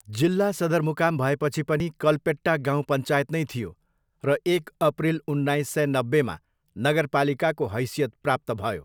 जिल्ला सदरमुकाम भएपछि पनि कल्पेट्टा गाउँ पञ्चायत नै थियो र एक अप्रिल उन्नाइस सय नब्बेमा नगरपालिकाको हैसियत प्राप्त भयो।